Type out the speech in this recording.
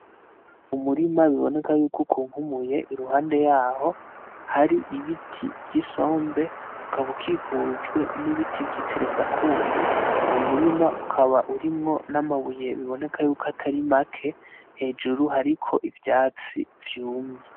Umurima biboneka yuko ukunkumuye , iruhande yaho hari ibiti vy’Isombe , ukaba ukikijwe n’ibiti vyiteresakumu . Uwo murima ukaba urimwo n’amabuye biboneka ko atari make hejuru hariko ivyatsi vyumye.